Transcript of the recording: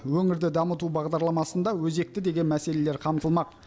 өңірді дамыту бағдарламасында өзекті деген мәселелер қамтылмақ